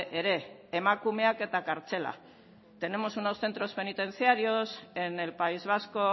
ere emakumeak eta kartzela tenemos unos centros penitenciarios en el país vasco